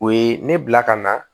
O ye ne bila ka na